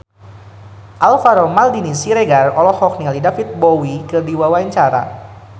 Alvaro Maldini Siregar olohok ningali David Bowie keur diwawancara